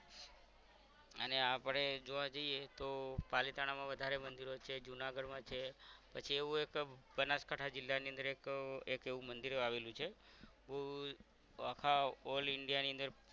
અને આપણે જોવા જઇયે તો પાલિતાણા માં વધારે મંદિરો છે જુનાગઢમાં છે પછી એવું એક બનાસકાઠા જિલ્લાની અંદર એક એક એવું મંદિર આવેલું છે આખા all India ની અંદર